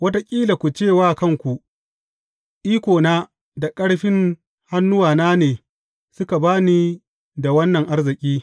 Wataƙila ku ce wa kanku, Ikona da ƙarfin hannuwana ne suka ba ni da wannan arziki.